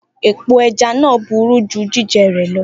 Epo aja naa buru ju jijẹ rẹ lọ.